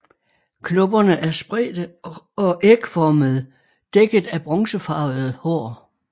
Knopperne er spredte og ægformede dækket af bronzefarvede hår